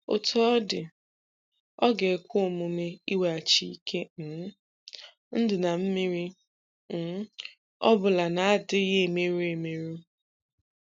Otú ọ dị, ọ ga-ekwe omume iweghachi ike um ndụ na mmiri ọ um bụla na-adịghị emerụ emerụ.